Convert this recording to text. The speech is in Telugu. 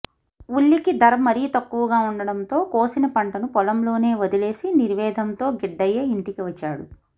ఉల్లికి ధర మరీ తక్కువగా ఉండటంతో కోసిన పంటను పొలంలోనే వదిలేసి నిర్వేదంతో గిడ్డయ్య ఇంటికి వచ్చాడు